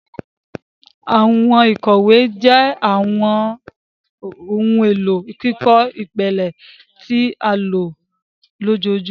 Àwọn ìkòwé jé àwọn ohùn èló kíkọ ìpìlẹ tí a lò lójoojúmó.